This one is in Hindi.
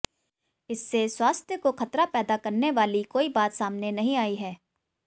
इससे स्वास्थ्य को खतरा पैदा करने वाली कोई बात सामने नहीं आई है